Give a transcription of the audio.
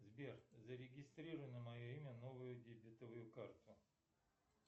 сбер зарегистрируй на мое имя новую дебетовую карту